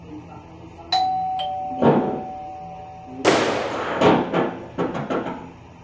Svo blimskakkar hann augunum til Eddu sinnar.